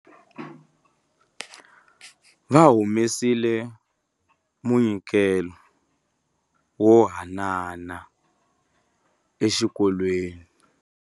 Va humesile munyikelo wo haanana exikolweni.